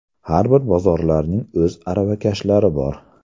Har bir bozorlarning o‘z aravakashlari bor.